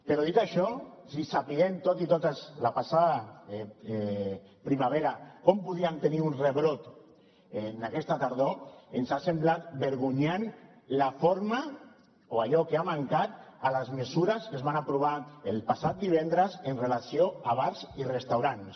però dit això sabent tots i totes la passada primavera com podíem tenir un rebrot aquesta tardor ens ha semblat vergonyant la forma o allò que ha mancat a les mesures que es van aprovar el passat divendres en relació amb bars i restaurants